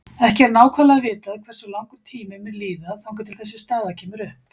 Ekki er nákvæmlega vitað hversu langur tími mun líða þangað til þessi staða kemur upp.